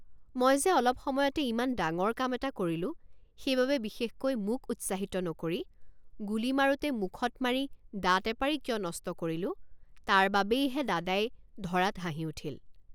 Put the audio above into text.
মই যে অলপ সময়তে ইমান ডাঙৰ কাম এটা কৰিলোঁ সেইবাবে বিশেষকৈ মোক উৎসাহিত নকৰি গুলী মাৰোঁতে মুখত মাৰি দাঁত এপাৰি কিয় নষ্ট কৰিলোঁ তাৰবাবেইহে দাদাই ধৰাত হাঁহি উঠিল।